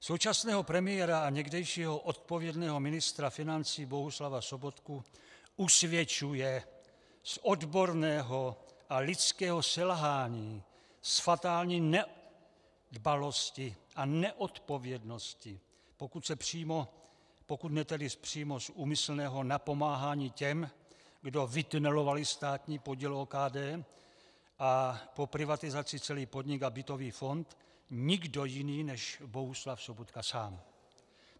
Současného premiéra a někdejšího odpovědného ministra financí Bohuslava Sobotku usvědčuje z odborného a lidského selhání, z fatální nedbalosti a neodpovědnosti, pokud ne tedy přímo z úmyslného napomáhání těm, kdo vytunelovali státní podíl OKD a po privatizaci celý podnik a bytový fond, nikdo jiný než Bohuslav Sobotka sám.